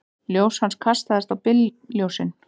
Ljós hans kastast á bílljósin.